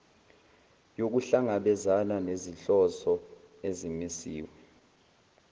yokuhlangabezana nezinhloso ezimisiwe